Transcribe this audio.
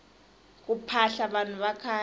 ku phahla vanhu vakhale